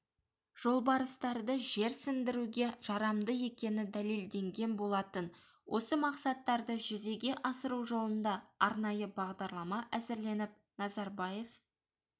жолбарыстарды жерсіндіруге жарамды екені дәлелденген болатын осы мақсаттарды жүзеге асыру жолында арнайы бағдарлама әзірленіп назарбаев